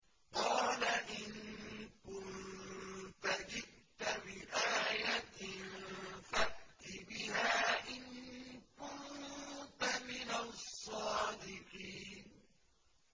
قَالَ إِن كُنتَ جِئْتَ بِآيَةٍ فَأْتِ بِهَا إِن كُنتَ مِنَ الصَّادِقِينَ